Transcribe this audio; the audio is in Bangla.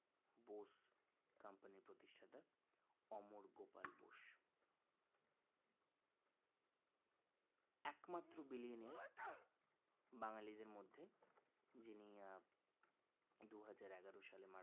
একমাত্র billionaire বাঙ্গালীদের মধ্যে যিনি দুইহাজার এগারো সালে